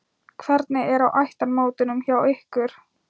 Hvernig er á ættarmótunum hjá ykkur?